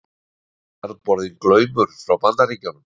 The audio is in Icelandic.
Keyptur jarðborinn Glaumur frá Bandaríkjunum.